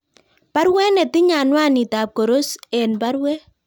Baruet netinye anwanit Kap Koros en baruet